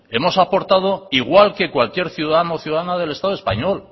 hemos aportado igual que cualquier ciudadano o ciudadana del estado español